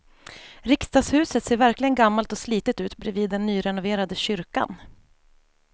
Riksdagshuset ser verkligen gammalt och slitet ut bredvid den nyrenoverade kyrkan.